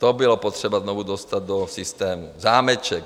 To bylo potřeba znovu dostat do systému, zámeček.